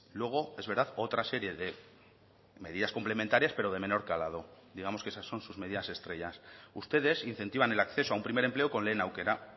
luego es verdad otra serie de medidas complementarias pero de menor calado digamos que esas son sus medidas estrellas ustedes incentivan el acceso a un primer empleo con lehen aukera